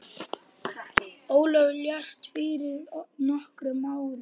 Ólafur lést fyrir nokkrum árum.